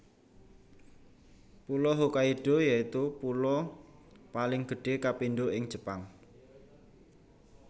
Pulo Hokkaido yaitu pulo paling gedhé kapindho ing Jepang